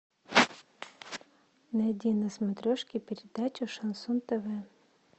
найди на смотрешке передачу шансон тв